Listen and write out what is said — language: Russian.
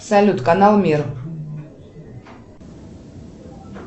салют канал мир